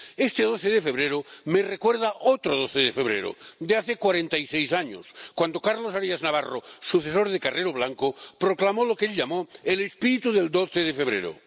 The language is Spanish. Este 12 de febrero me recuerda otro 12 de febrero de hace cuarenta y seis años, cuando Carlos Arias Navarro, sucesor de Carrero Blanco, proclamó lo que él llamó el espíritu del 12 de febrero.